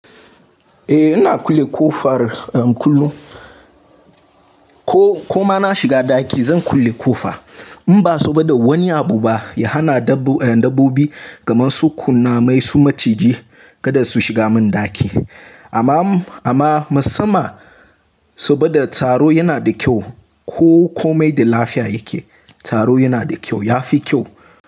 Eh, ina kulle ƙofa har kullum. Ko, ku ma na shiga ɗaki zan kulle ƙofa. In ba so ba da wani abu ba ya hana dabbobi, kaman su kunnamai su maciji kada su shiga mun daki. Amma, amma musamman so ba da tsaro yana da kyau ko komai da lafiya yake. Taro yana da kyau, ya fi kyau.